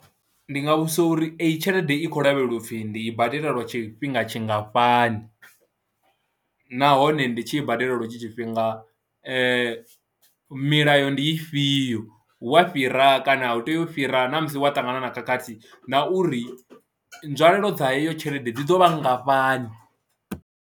Ndi nga vhudzisa uri eyi tshelede i khou lavheleliwa u pfhi ndi i badela lwa tshifhinga tshingafhani nahone ndi tshi i badela lwo etsho tshifhinga milayo ndi ifhio, hu a fhira kana a u teu u fhira na, musi wa ṱangana na khakhathi na uri nzwalelo dza heyo tshelede dzi ḓo vha nngafhani.